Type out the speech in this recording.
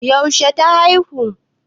Yaushe ta aihu?